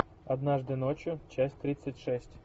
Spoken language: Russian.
однажды ночью часть тридцать шесть